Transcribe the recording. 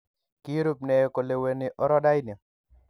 Kirub ne koleweni orodaini?